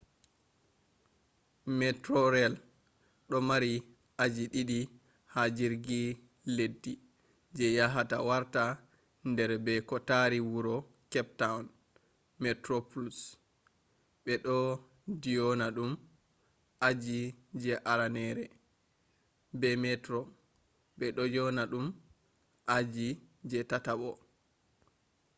metrorail do mari aji didi ha jirgi leddi je yahata warta der be ko tari wuro cape town: metroplus be do dyona dum aji je aranere be metro be do dyona dum aji je tatabo